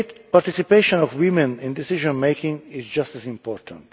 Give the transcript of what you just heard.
Participation of women in decision making is just as important.